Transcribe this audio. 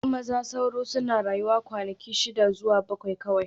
Maza sauro suna rayuwa kwanaki shida zuwa bakwai kawai